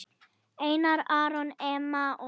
Einar Aron, Emma og Vera.